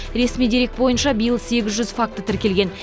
ресми дерек бойынша биыл сегіз жүз факті тіркелген